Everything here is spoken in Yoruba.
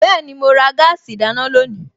Bẹ́ẹ̀ni, mo ra gáàsì ìdáná lónìí